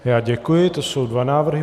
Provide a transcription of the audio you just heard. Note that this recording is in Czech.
Já děkuji, to jsou dva návrhy.